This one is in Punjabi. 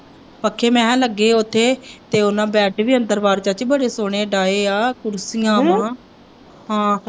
ਪੱਖੇ ਮੈਂ ਕਿਹਾ ਲੱਗੇ ਹੈ ਉੱਥੇ ਤੇ ਉਹਨਾਂ ਬੈੱਡ ਵੀ ਅੰਦਰ ਬਾਹਰ ਚਾਚੀ ਬੜੇ ਸੋਹਣੇ ਡਾਏ ਹੈ ਕੁਰਸੀਆਂ ਹਮ ਹਾਂ।